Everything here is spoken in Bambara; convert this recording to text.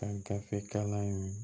Ka gafe kalan in